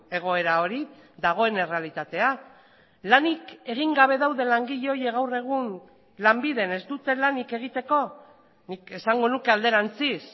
egoera hori dagoen errealitatea lanik egin gabe daude langile horiek gaur egun lanbiden ez dute lanik egiteko nik esango nuke alderantziz